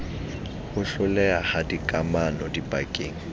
ho hloleha ha dikamano dipakeng